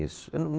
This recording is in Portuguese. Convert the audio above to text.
Isso. Eu não